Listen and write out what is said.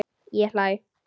Ég hlæ.